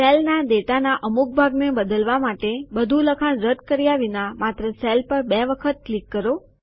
સેલના ડેટા ના અમુક ભાગ ને બદલવા માટે બધું લખાણ રદ કર્યા વિના માત્ર સેલ પર બે વખત ક્લિક કરો